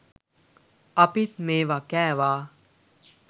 අපිත් මේවා කෑවා